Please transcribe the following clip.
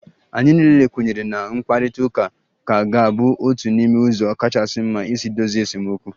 Anyị niile kwenyere na mkparịta ụka ka ga-abụ otu n'ime ụzọ kachasị mma isi dozie esemokwu